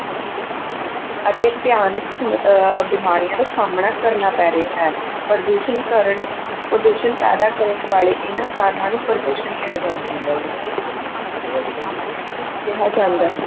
ਅਤੇ ਭਿਆਨਕ ਅਹ ਬਿਮਾਰੀਆਂ ਦਾ ਸਾਹਮਣਾ ਕਰਨਾ ਪੈ ਰਿਹਾ ਹੈ, ਪ੍ਰਦੂਸ਼ਣ ਕਾਰਨ ਪ੍ਰਦੂਸ਼ਣ ਪੈਦਾ ਕਰਨ ਵਾਲੇ ਇਹਨਾਂ ਕਾਰਨਾਂ ਨੂੰ ਪ੍ਰਦੂਸ਼ਣ ਕਿਹਾ ਕਿਹਾ ਜਾਂਦਾ ਹੈ।